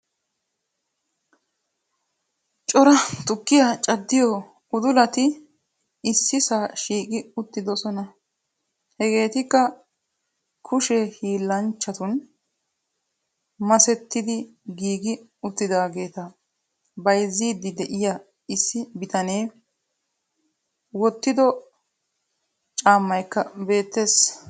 Cora tukkiyaa cadiyo uddulaati issisaa shiiqi uttidosona hegeetikkaa kuushshee hillanchchatun masettidi giigi uttidagettaa bayziidi de'iya issi bittanne woottido caammaykaa beettees.